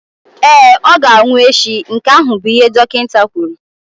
Ee, ọ ga-anwụ echi, nke ahụ bụ ihe dọkịta kwuru.